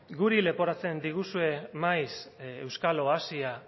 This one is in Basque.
guri leporatzen diguzue maiz euskal oasia